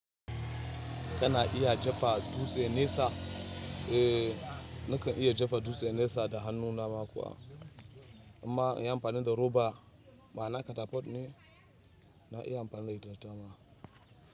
Kana iya jefa dutse nesa? Eee, nakan iya jefa dutse nesa da hannuna ma kuwa, amma in yi amfani da roba, ma'ana catapult ne, na iya amfani da ita ma.